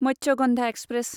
Matsyagandha express